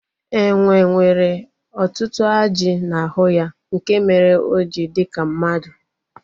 Enwe nwere ọtụtụ ajị n'ahụ ya nke mere o ji dị ka mmadụ